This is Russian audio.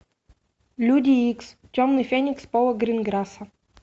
люди икс темный феникс пола гринграсса